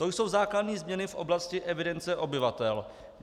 To jsou základní změny v oblasti evidence obyvatel.